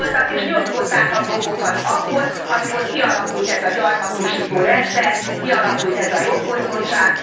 Itt voltak, és nyomkodták a gombokat akkor, amikor kialakult ez a gyarmatosító rendszer, kialakult ez a jogfosztottság.